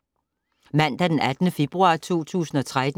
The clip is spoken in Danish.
Mandag d. 18. februar 2013